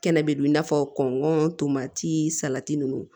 Kɛnɛ bɛ don i n'a fɔ kɔngɔ tomati salati ninnu